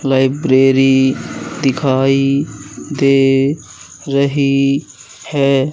Library दिखाई दे रही है।